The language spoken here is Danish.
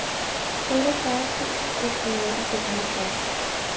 otteogfyrre tusind et hundrede og femoghalvfjerds